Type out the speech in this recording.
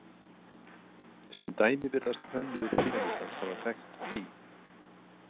Sem dæmi virðast hönnuðir Pýramídans hafa þekkt „pí“.